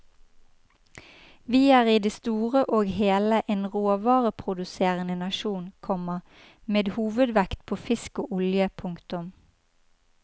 Vi er i det store og hele en råvareproduserende nasjon, komma med hovedvekt på fisk og olje. punktum